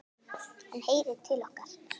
Hann heyrir til okkar.